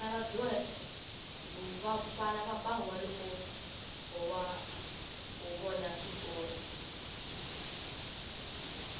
vana va ba huwa loko ho vona switori